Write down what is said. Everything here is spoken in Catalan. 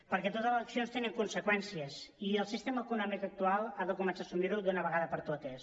perquè totes les accions tenen conseqüències i el sistema econòmic actual ha de començar a assumir ho d’una vegada per totes